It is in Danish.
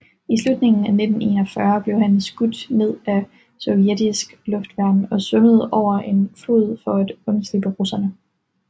I slutningen af 1941 blev han skudt ned af sovjetisk luftværn og svømmede over en flod for at undslippe russerne